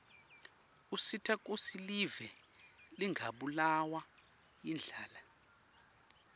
usita kutsi live lingabulawa yindlala